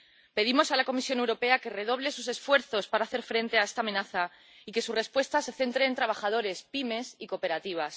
Pedimos a la Comisión Europea que redoble sus esfuerzos para hacer frente a esta amenaza y que su respuesta se centre en los trabajadores, las pymes y las cooperativas.